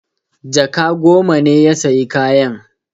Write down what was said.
Jaka goma ne ya sayi kayan.